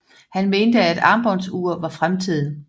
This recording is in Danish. Han mente at armbåndsure var fremtiden